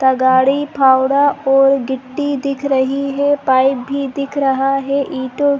तगाड़ी फावड़ा और गिट्टी दिख रही है पाइप भी दिख रहा है ईटो के--